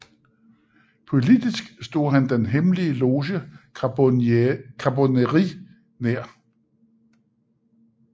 Politisk stod han den hemmelige loge Charbonnerie nær